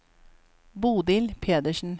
Bodil Pedersen